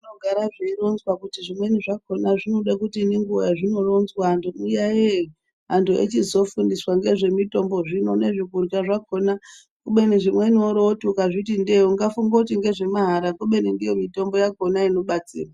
Zvinogare zveironzwa kuti zvimweni zvakona zvinode kuti nenguva yazvinoronzwa anhu ti tiyayeye anhu echizofundiswa ngezvemitombo zvino nezvekurya zvakona kubeni zvimweni worooti ukazviti ndee ungafunge kuti ngezvemahara kubeni ndiyo mitombo yakona inobatsira.